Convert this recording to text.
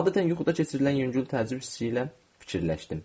Adətən yuxuda keçirilən yüngül təəccüb hissi ilə fikirləşdim.